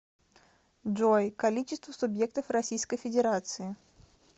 джой количество субъектов российской федерации